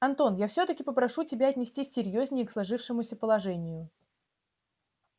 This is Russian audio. антон я всё-таки попрошу тебя отнестись серьёзнее к сложившемуся положению